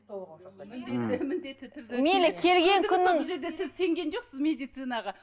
міндетті міндетті түрде мейлі келген күннің бұл жерде сіз сенген жоқсыз медицинаға